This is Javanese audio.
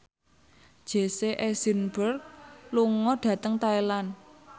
Jesse Eisenberg lunga dhateng Thailand